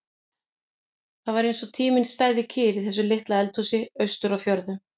Það var eins og tíminn stæði kyrr í þessu litla eldhúsi austur á fjörðum.